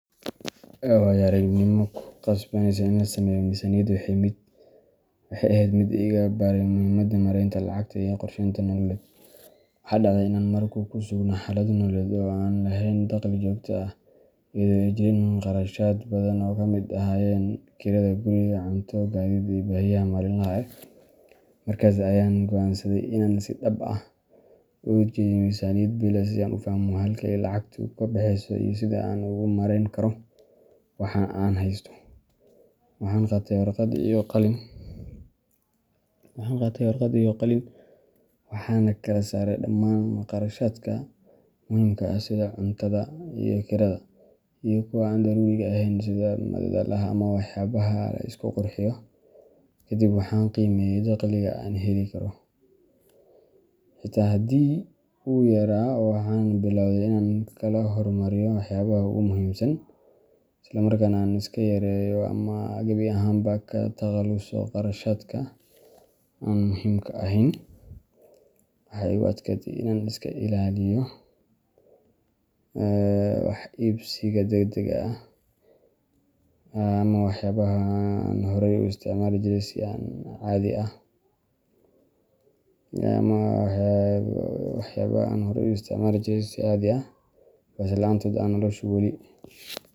Waayo-aragnimo aan ku qasbanaaday in aan sameeyo miisaaniyad waxay ahayd mid iga baray muhiimadda maaraynta lacagta iyo qorsheynta nololeed. Waxa dhacday in aan mar ku sugnaa xaalad nololeed oo aanan lahayn dakhli joogto ah, iyadoo ay jireen kharashaad badan oo ay ka mid ahaayeen kirada guriga, cunto, gaadiid, iyo baahiyaha maalinlaha ah. Markaas ayaan go’aansaday in aan si dhab ah u dejiyo miisaaniyad bille ah si aan u fahmo halka ay lacagtu ka baxayso iyo sida aan ugu maarayn karo waxa aan haysto. Waxaan qaatay warqad iyo qalin, waxaana kala saaray dhammaan kharashaadka muhiimka ah sida cuntada iyo kirada, iyo kuwa aan daruuriga ahayn sida madadaalada ama waxyaabaha la isku qurxiyo. Kadib waxaan qiimeeyay dakhliga aan heli karo, xitaa haddii uu yaraa, waxaanan biloway inaan kala hormariyo waxyaabaha ugu muhiimsan, isla markaana aan iska yareeyo ama gebi ahaanba ka takhaluso kharashaadka aan muhiimka ahayn. Waxaa igu adkaatay in aan iska ilaaliyo wax iibsiga degdegga ah ama waxyaabaha aan horey u isticmaali jiray si caadi ah, balse la’aantood ay noloshu weli .